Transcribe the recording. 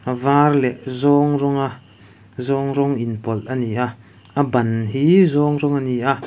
a vâr leh zâwng rawnga zâwng rawng inpawlh a ni a a ban hi zâwng rawng a ni a.